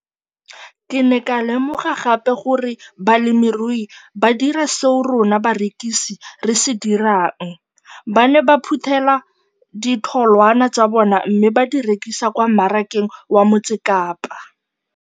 Ke ne ka lemoga gape gore balemirui ba dira seo rona barekisi re se dirang - ba ne ba phuthela ditholwana tsa bona mme ba di rekisa kwa marakeng wa Motsekapa.